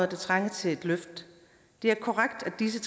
der trænger til et løft det er korrekt at disse